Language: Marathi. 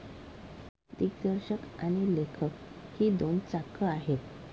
दिग्दर्शक आणि लेखक ही दोन चाकं आहेत.